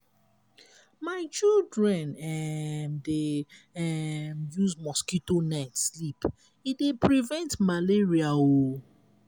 my children um dey um use mosquito net sleep e dey prevent malaria o